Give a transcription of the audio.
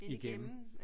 Igennem